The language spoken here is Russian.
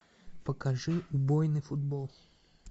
покажи убойный футбол